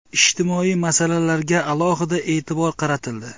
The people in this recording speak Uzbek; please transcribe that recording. Ijtimoiy masalalarga alohida e’tibor qaratildi.